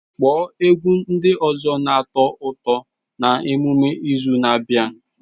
Kpọọ egwu ndị ọzọ na-atọ ụtọ na emume izu na-abịa!